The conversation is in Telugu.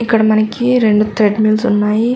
ఇక్కడ మనకి రెండు థ్రెడ్ మిల్స్ ఉన్నాయి.